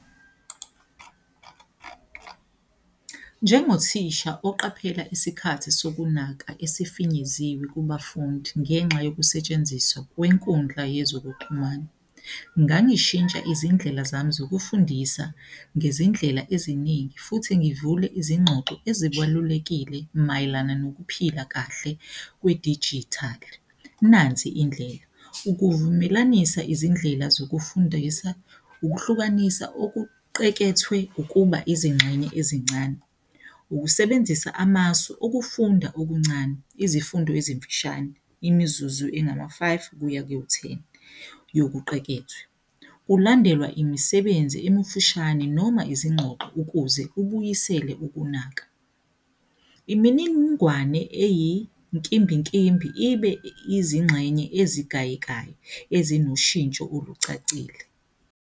Njengothisha oqaphela isikhathi sokunaka esifinyeziwe kubafundi ngenxa yokusetshenziswa kwenkundla yezokuxhumana. Ngangishintsha izindlela zami zokufundisa ngezindlela eziningi futhi ngivule izingxoxo ezibalulekile mayelana nokuphila kahle kwedijithali. Nansi indlela, ukuzivumelanisa izindlela zokufundisa ukuhlukanisa okuqekethwe ukuba izingxenye ezincane, ukusebenzisa amasu ukufunda okuncane, izifundo ezimfishane, imizuzu engama-five kuya ku-ten yokuqekethwe, kulandelwa imisebenzi emifishane noma izingxoxo ukuze kubuyisele ukunaka. Iminingwane eyinkimbinkimbi ibe izingxenye ezigayekayo ezinoshintsho olucacile.